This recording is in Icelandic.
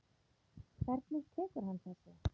Hvernig tekur hann þessu?